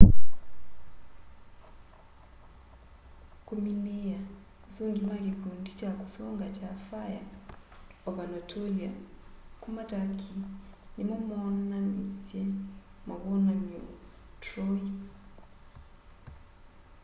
kũmĩnĩĩa asũngĩ ma kikundi kya kusunga kya fĩre of anatolĩa kuma turkey nĩmo moonanĩsya mawonanyo troy